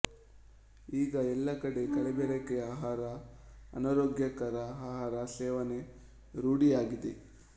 ಈಗ ಎಲ್ಲಾ ಕಡೆ ಕಲಬೆರಕೆ ಆಹಾರ ಅನಾರೋಗ್ಯಕರ ಆಹಾರ ಸೇವನೆ ರೂಢಿಯಾಗಿದೆ